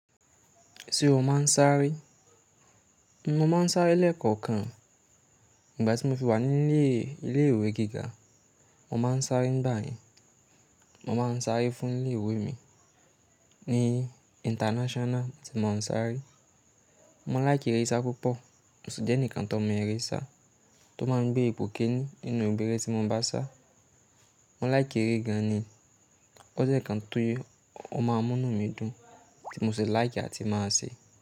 Ṣé o máa ń sáré? Mo máa ń sáré lẹ́ẹ̀kọ̀kan. Ìgbà tí mo fi wà ní ilé ìwé gíga, mo máa ń sáré nígbayen. Mo máa ń sáré fún ilé ìwé mi ní international tí mo ń sáré. Mo like eré sisa púpọ̀, mo si jẹ́ ení kan tó mọ eré ìṣá tó máa ń gbé ipò kénì nínú gbogbo ere tí mo ń bá sá. Mo láìkì eré gánì, ó jẹ́ ká ń tún o máa múnú mi dùn tí mo sì láìkì láti máa ṣe.